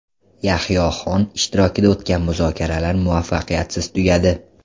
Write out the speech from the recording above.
Yahyo Xon ishtirokida o‘tgan muzokaralar muvaffaqiyatsiz tugadi.